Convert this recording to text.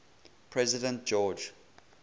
president george